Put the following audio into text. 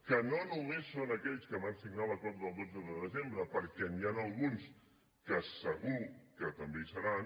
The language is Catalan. que no només són aquells que van signar l’acord del dotze de desembre perquè n’hi ha alguns que segur que també hi seran